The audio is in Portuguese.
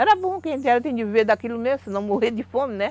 Era bom que a gente tinha que viver daquilo mesmo, senão morreria de fome, né?